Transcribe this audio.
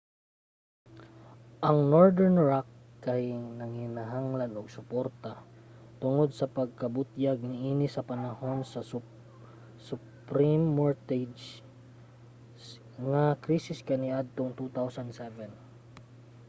ang northern rock kay nanginhanglan og suporta tungod sa pagkabutyag niini sa panahon sa subprime mortgage nga krisis kaniadtong 2007